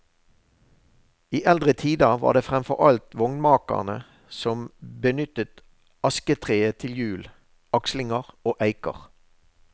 I eldre tider var det fremfor alt vognmakerne som benyttet asketreet til hjul, akslinger og eiker.